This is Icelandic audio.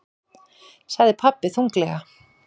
sagði pabbi þunglega.